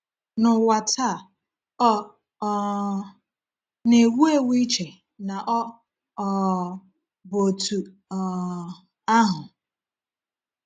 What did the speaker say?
N’ụwa taa, ọ um na-ewu ewu iche na ọ um bụ otú um ahụ.